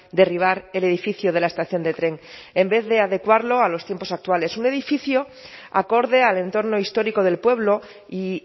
derribar el edificio de la estación de tren en vez de adecuarlo a los tiempos actuales un edificio acorde al entorno histórico del pueblo y